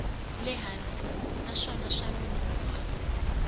le hansi naswona swa nonoha